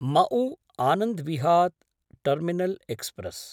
मऊ आनन्द्विहात् terminal express